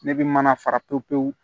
Ne bɛ mana fara pewu pewu